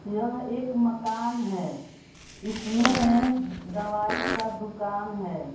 यह एक मकान है इसमें दवाई का दुकान है।